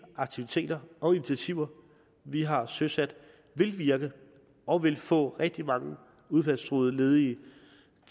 aktiviteter og initiativer vi har søsat vil virke og vil få rigtig mange udfaldstruede ledige